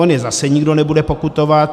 On je zase nikdo nebude pokutovat.